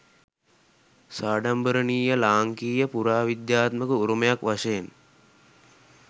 සාඩම්බරණීය ලාංකීය පුරාවිද්‍යාත්මක උරුමයක් වශයෙන්